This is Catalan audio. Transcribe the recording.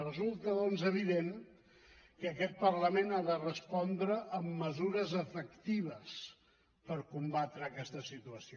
resulta doncs evident que aquest parlament ha de respondre amb mesures efectives per combatre aquesta situació